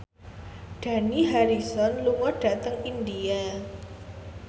Dani Harrison lunga dhateng India